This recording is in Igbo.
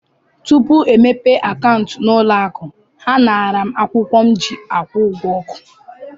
Tupu e mepee akaụntụ n'ụlọ akụ, ha naara m akwụkwọ m ji akwụ ụgwọ ọkụ.